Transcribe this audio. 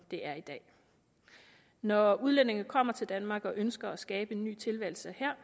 det er i dag når udlændinge kommer til danmark og ønsker at skabe en ny tilværelse her